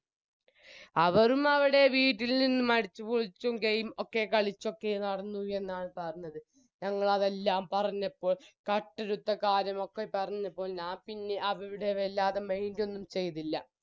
അവരും അവരുടെ വീട്ടിൽ നിന്നും അടിച്ചും പൊളിച്ചും game ഒക്കെ കളിച്ചൊക്കെ നടന്നു എന്നാണ് പറഞ്ഞത് ഞങ്ങളതെല്ലാം പറഞ്ഞപ്പോൾ കട്ടെടുത്ത കാര്യം ഒക്കെ പറഞ്ഞപ്പോ ഞാപ്പിന്നെ അവരുടെ വല്ലാതെ mind ഒന്നും ചെയ്തില്ല